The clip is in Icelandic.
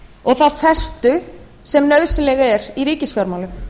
og þá festu sem nauðsynleg er í ríkisfjármálum